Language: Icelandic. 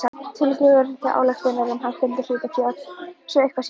tillögu til ályktunar um hækkun hlutafjár svo eitthvað sé nefnt.